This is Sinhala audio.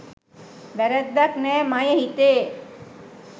වැරැද්දක් නෑ මයෙ හිතේ